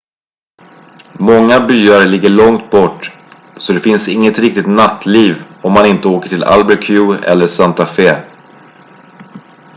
många byar ligger långt bort så det finns inget riktigt nattliv om man inte åker till albuquerque eller santa fe